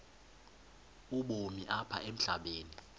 ubomi apha emhlabeni